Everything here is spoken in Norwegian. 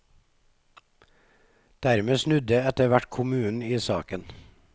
Dermed snudde etterhvert kommunen i saken.